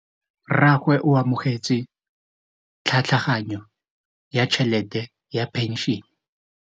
Rragwe o amogetse tlhatlhaganyô ya tšhelête ya phenšene.